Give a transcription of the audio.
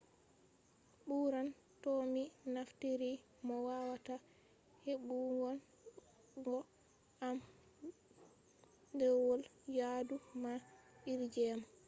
ɓuran to mi naftiri mo wawata heɓugon go am ɗerwol yaadu man iri jema